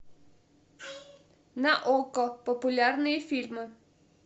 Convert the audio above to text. на окко популярные фильмы